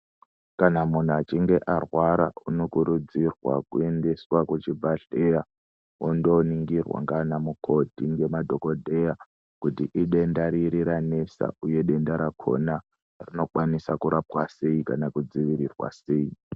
Kana munhu achinge arwara unokurudzirwa kuendeswa kuchibhedhlera ondoningirwa ngana mukoti nanadhogodheya kuti idenda riri ranesa uye denda rakhona rinokwaniswa kurapwa sei kana kudziirirwa sei.